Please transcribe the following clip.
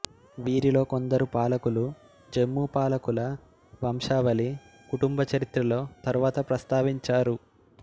వీరిలో కొందరు పాలకులుజమ్మూ పాలకుల వంశావళి కుటుంబ చరిత్రలో తరువాత ప్రస్తావించారు